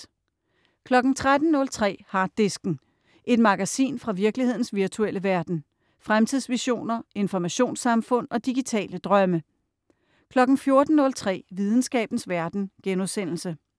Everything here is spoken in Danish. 13.03 Harddisken. Et magasin fra virkelighedens virtuelle verden. Fremtidsvisioner, informationssamfund og digitale drømme 14.03 Videnskabens verden*